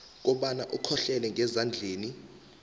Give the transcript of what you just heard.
kobana ukhohlelele ngezandleni